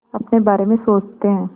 अपने बारे में सोचते हैं